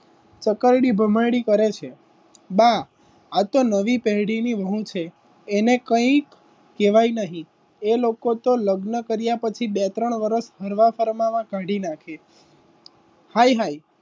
ચકરડી ભમરડી કરે છે બા આ તો નવી પેઢીની બહુ છે એને કંઈ કહેવાય નહીં એ લોકો તો લગ્ન કર્યા પછી બે ત્રણ વર્ષ ફરવા ફરવા કાઢી નાખે હાઈ હાઈ.